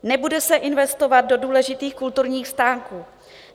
Nebude se investovat do důležitých kulturních stánků.